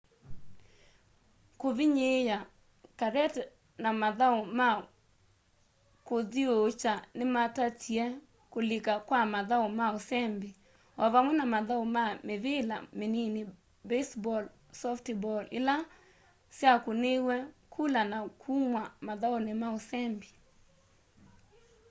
kũvĩnyĩĩa karate na mathaũ ma kũthĩũũkya nĩmatatĩe kũlĩka kwa mathaũ ma ũsembĩ ovamwe na mathaũ ma mĩvĩla mĩnĩnĩ baseball softball ĩla syakũnĩĩw'e kũla na kũmwa mathaũnĩ ma ũsembĩ